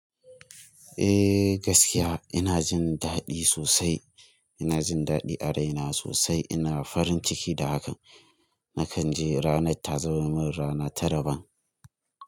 Eh gaskiya ina jin daɗi sosai, ina jin daɗi a raina sosai. Ina farin ciki da haka, na kan je ranar ta zama min rana ta daban.